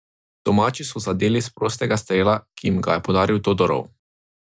Domači so zadeli s prostega strela, ki jim ga je podaril Todorov.